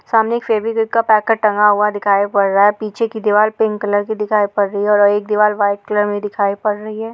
सामने एक फेवीक्विक का पैकेट टंगा हुआ दिखाई पड़ रहा है। पीछे की दीवाल पिंक कलर की दिखाई पड़ रही है और एक दीवाल व्हाइट कलर में दिखाई पड़ रही है।